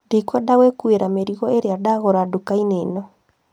Ndikwenda gwĩkuira mĩrigo ĩria ndagũra ndukainĩ ĩno